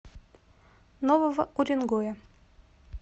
нового уренгоя